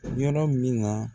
Yɔrɔ min na